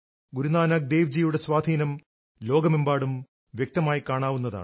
ഗുരു നാനക് ദേവ് ജിയുടെ സ്വാധീനം ലോകമെമ്പാടും വ്യക്തമായി കാണാവുന്നതാണ്